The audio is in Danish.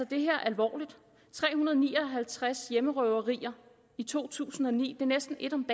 det her alvorligt tre hundrede og ni og halvtreds hjemmerøverier i to tusind og ni er næsten ét om